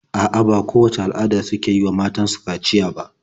A'a, ba kowacce al'ada ce suke yi wa matan su kaciya ba.